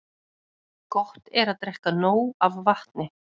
Gott er að drekka nóg af vatni.